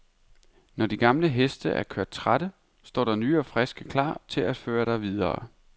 Når de gamle heste er kørt trætte, står der nye og friske klar til at føre dig videre.